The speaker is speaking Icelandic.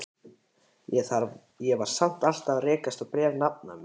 Ég var samt alltaf að rekast á bréf nafna míns.